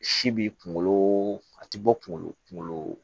Si b'i kunkolo a ti bɔ kunkolo kunkolo